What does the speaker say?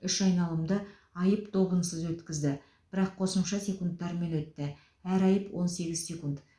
үш айналымды айып добынсыз өткізді бірақ қосымша секундтармен өтті әр айып он сегіз секунд